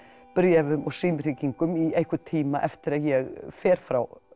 bréfum og símhringingum í einhvern tíma eftir að ég fer frá